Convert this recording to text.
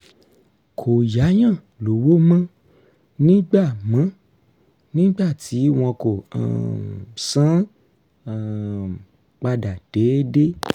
kò yáyàn lówó mọ́ nígbà mọ́ nígbà tí wọn kò um san án um padà déédé